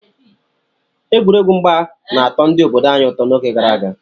Egwuregwu mgba na-atọ ndị obodo anyị ụtọ n'oge gara aga.